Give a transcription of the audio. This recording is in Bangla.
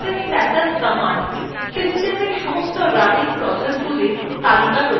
ps অথবা process status command systemএর সমস্ত running processগুলির তালিকা প্রদর্শন করে